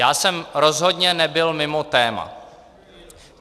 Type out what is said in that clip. Já jsem rozhodně nebyl mimo téma.